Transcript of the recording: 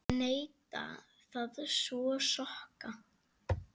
Neita að þvo sokka.